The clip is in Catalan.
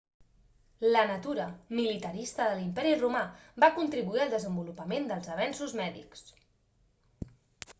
la natura militarista de l'imperi romà va contribuir al desenvolupament dels avenços mèdics